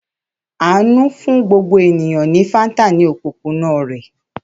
Àánú fún gbogbo ènìyàn ní Fanta ní òpópónà rẹ̀.